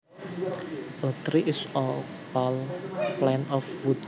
A tree is a tall plant of wood